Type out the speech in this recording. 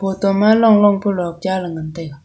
to ma long long pu luk cha le ngan taiga.